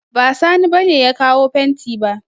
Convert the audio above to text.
Ba Sani ba ne ya kawo fenti ba